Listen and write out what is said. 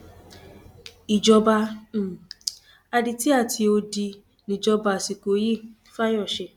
ìjọba um adití àti odi níjọba àsìkò yìí fáyọsé